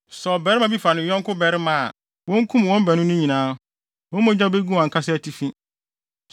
“ ‘Sɛ ɔbarima bi fa ne yɔnko barima a, wonkum wɔn baanu no nyinaa; wɔn mogya begu wɔn ankasa atifi.